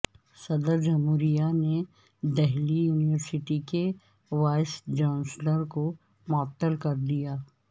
صدر جمہوریہ نے دہلی یونیورسٹی کے وائس چانسلر کو معطل کر دیا